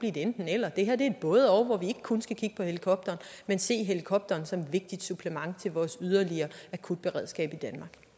et enten eller det her er et både og hvor vi ikke kun skal kigge på helikopteren men se helikopteren som et vigtigt supplement til vores yderligere akutberedskab